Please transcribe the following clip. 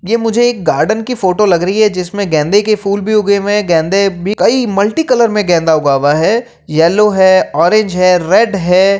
ये मुझे एक गार्डन की फोटो लग रही है जिसमे गेंदे के फूल भी उगे हुए है। गेंदे भी कई मल्टी कलर में गेंदा उगा हुआ है येलो है ऑरेंज है रेड है।